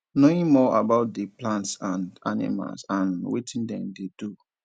knowing more about di plants and animals and wetin dem dey do